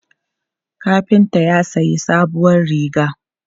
Kafinta ya sayi sabuwar riga.